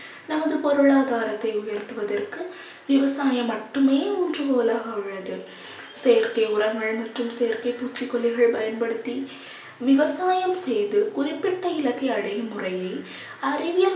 நமது பொருளாதாரத்தை உயர்த்துவதற்கு விவசாயம் மட்டுமே ஊன்றுகோலாக உள்ளது. செயற்கை உரங்கள் மற்றும் செயற்கை பூச்சிக்கொல்லிகள் பயன்படுத்தி விவசாயம் செய்து குறிப்பிட்ட இலக்கை அடையும் முறையை அறிவியல்